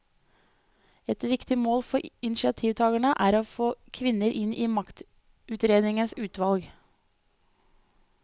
Ett viktig mål for initiativtagerne er å få kvinner inn i maktutredningens utvalg.